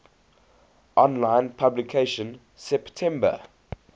online publication september